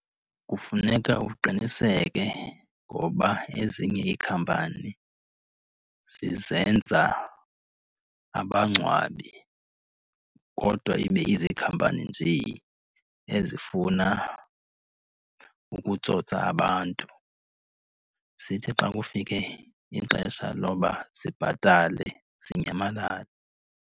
Kufuneka uqiniseke ngoba ezinye iikhampani zizenza abangcwabi kodwa ibe izikhampani njee ezifuna ukutsotsa abantu. Zithi xa kufike ixesha loba zibhatale zinyamalale.